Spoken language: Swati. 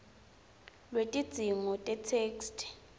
lwetidzingo tetheksthi